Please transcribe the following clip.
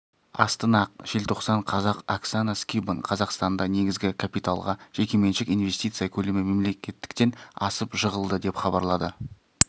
астана желтоқсан қазақ оксана скибан қазақстанда негізгі капиталға жекеменшік инвестиция көлемі мемлекеттіктен асып жығылды деп хабарлады